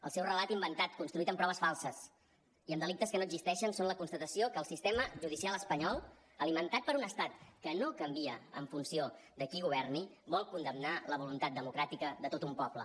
el seu relat inventat construït amb proves falses i amb delictes que no existeixen són la constatació que el sistema judicial espanyol alimentat per un estat que no canvia en funció de qui governi vol condemnar la voluntat democràtica de tot un poble